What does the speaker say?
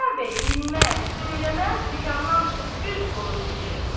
Xudayar bəy dinməz, söyləməz dükandan çıxıb üz qoydu getməyə.